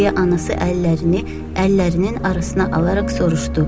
deyə anası əllərini əllərinin arasına alaraq soruşdu.